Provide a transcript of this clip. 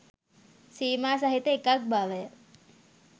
සීමා සහිත එකක් බවය.